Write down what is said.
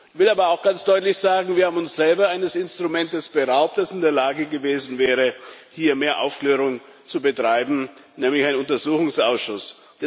Ich will aber auch ganz deutlich sagen Wir haben uns selber eines Instrumentes beraubt, das in der Lage gewesen wäre, hier mehr Aufklärung zu betreiben, nämlich eines Untersuchungsausschusses.